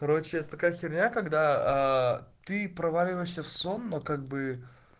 короче это такая херня когда ты проваливаешься в сон но как бы